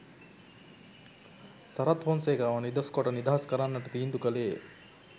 සරත් ෆොන්සේකාව නිදොස්‌ කොට නිදහස්‌ කරන්නට තීන්දු කළේය